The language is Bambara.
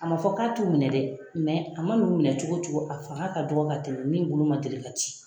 A ma fɔ k'a t'u minɛ dɛ, mɛ a ma n'u minɛ cogo o cogo, a fanga ka dɔgɔ ka tɛmɛ min bolo ma deli ka ci!